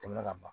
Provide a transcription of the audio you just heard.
Tɛmɛnen ka ban